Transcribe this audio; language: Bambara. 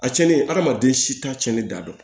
A cɛnnen adamaden si t'a cɛnni da dɔn